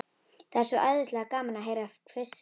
Það er svo æðislega gaman að heyra hvissið.